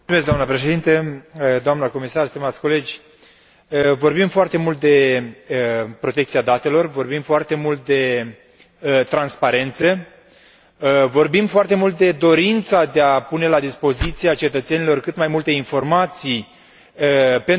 Vorbim foarte mult de protecția datelor, vorbim foarte mult de transparență, vorbim foarte mult de dorința de a pune la dispoziția cetățenilor cât mai multe informații pentru a avea succes în orice direcție vorbim.